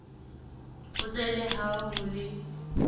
fotse le ha ho le